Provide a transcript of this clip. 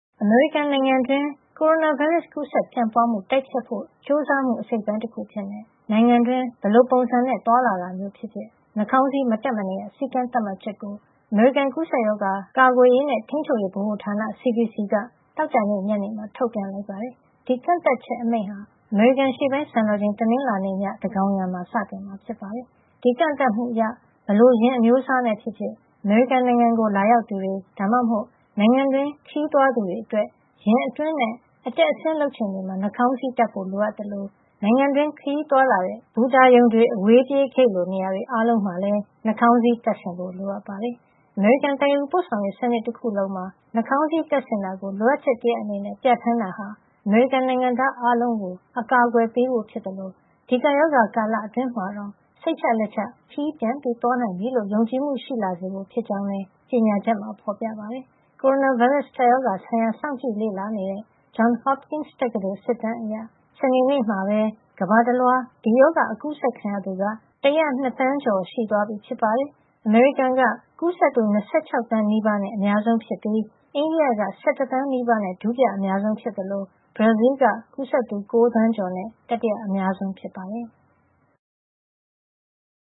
အမေရိကန်နိုင်ငံတွင်း ကိုရိုနာဗိုင်းရပ်စ် ကူးစက်ပြန့်ပွါးမှု တိုက်ဖျက်ဖို့ ကြိုးစားမှု အစိတ်အပိုင်းတခုအဖြစ်နဲ့ နိုင်ငံတွင်း ဘယ်လိုပုံစံနဲ့ သွားလာတာမျိုးပဲဖြစ်ဖြစ် နှာခေါင်းစည်း မတပ်မနေရ စည်းကမ်းသတ်မှတ်ချက်ကို အမေရိကန် ကူးစက်ရောဂါဆိုင်ရာ ကာကွယ်ရေးနဲ့ ထိန်းချုပ်ရေးဗဟိုဌာန (CDC) က သောကြာနေ့ညနေမှာ ထုတ်ပြန်လိုက်ပါတယ်။ ဒီကန့်သတ်ချက်အမိန့်ဟာ အမေရိကန်အရှေ့ပိုင်းစံတော်ချိန် တနင်္လာနေ့ည သန်းခေါင်ယံမှာ စတင်မှာဖြစ်ပါတယ်။ ဒီကန့်သတ်မှုအရ ဘယ်လို ယာဉ်အမျိုးအစားနဲ့ဖြစ်ဖြစ် အမေရိကန်နိုင်ငံကို လာရောက်သူတွေ ဒါမှမဟုတ် နိုင်ငံတွင်း ခရီးသွားသူတွေအတွက် ယာဉ်အတွင်းနဲ့ အတက်အဆင်း လုပ်ချိန်တွေမှာ နှာခေါင်းစည်းတပ်ဖို့ လိုအပ်သလို နိုင်ငံတွင်း ခရီးသွားလာတဲ့ ဘူတာရုံ၊ အဝေးပြေးဂိတ်လို နေရာတွေ အားလုံးမှာလည်း နှာခေါင်းစည်း တပ်ဆင်ဖို့ လိုအပ်ပါတယ်။ အမေရိကန် သယ်ယူပို့ဆောင်ရေး စနစ်တခုလုံးမှာ နှာခေါင်းစည်း တပ်ဆင်တာကို လိုအပ်ချက်အနေနဲ့ ပြဋ္ဌာန်းတာဟာ အမေရိကန်နိုင်ငံသား အားလုံးကို အကာအကွယ်ပေးဖို့ ဖြစ်သလို ဒီကပ်ရောဂါ ကာလအတွင်းမှာတောင် စိတ်ချလက်ချ ခရီးပြန်သွားနိုင်ပြီလို့ ယုံကြည်မှု ရှိလာစေဖို့ဖြစ်ကြောင်းလည်း ကြေညာချက်မှာ ဖော်ပြထားပါတယ်။ ကိုရိုနာဗိုင်းရပ်စ် ကပ်ရောဂါဆိုင်ရာ စောင့်ကြည့်လေ့လာနေတဲ့ Johns Hopkins တက္ကသိုလ် စစ်တမ်းအရ စနေနေ့မှာပဲ ကမ္ဘာတလွှား ဒီရောဂါ အကူးစက်ခံရသူ ၁၀၂ သန်းကျော်သွားပြီ ဖြစ်ပါတယ်။ အမေရိကန်နိုင်ငံက ကူးစက်သူ ၂၆ သန်းနီးပါးနဲ့ အများဆုံးဖြစ်ပြီး အိန္ဒိယက ၁၁ သန်းနီးပါးနဲ့ ဒုတိယအများဆုံး၊ ဘရာဇီးလ်က ကူးစက်သူ ၉ သန်းကျော်နဲ့ တတိယအများဆုံး ဖြစ်ပါတယ်။